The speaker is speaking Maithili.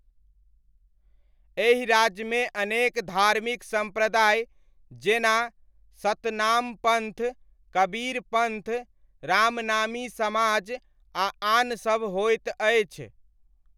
एहि राज्यमे अनेक धार्मिक सम्प्रदाय जेना सतनामपन्थ, कबीरपन्थ, रामनामी समाज आ आनसभ होइत अछि।